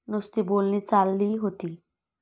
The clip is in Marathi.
नुसती बोलणी चालली होती.